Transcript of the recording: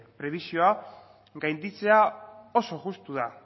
prebisioa gainditzea oso justua